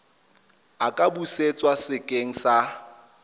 a ka busetswa sekeng sa